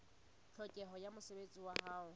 tlhokeho ya mosebetsi wa ho